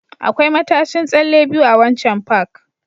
Akwai matashin tsalle biyu a waccan Park